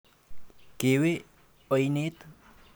Kewe oinet?